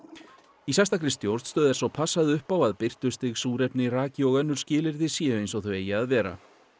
í sérstakri stjórnstöð er svo passað upp á að birtustig súrefni raki og önnur skilyrði séu eins og þau eigi að vera